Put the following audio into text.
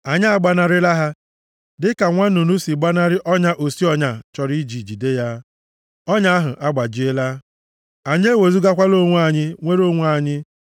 Anyị agbanarịla ha dịka nwa nnụnụ si gbanarị ọnya osi ọnya chọrọ iji jide ya; ọnya ahụ agbajiela, anyị ewezugakwala onwe anyị, nwere onwe anyị.